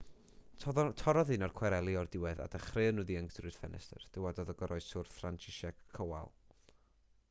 torrodd un o'r cwareli o'r diwedd a dechreuon nhw ddianc trwy'r ffenestr dywedodd y goroeswr franciszek kowal